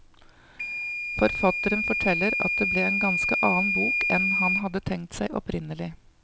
Forfatteren forteller at det ble en ganske annen bok enn han hadde tenkt seg opprinnelig.